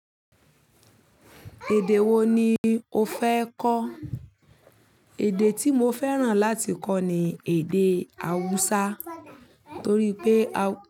Èdè wo ni o fẹ́ kọ́? Èdè tí mo fẹ́ràn láti kọ́ ni èdè Hausa torí pé a.